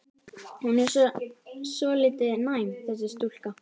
Hún er svolítið næm, þessi stúlka.